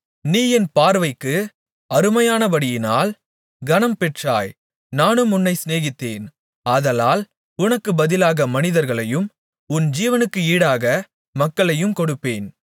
நீ என் பார்வைக்கு அருமையானபடியினால் கனம்பெற்றாய் நானும் உன்னைச் சிநேகித்தேன் ஆதலால் உனக்குப் பதிலாக மனிதர்களையும் உன் ஜீவனுக்கு ஈடாக மக்களையும் கொடுப்பேன்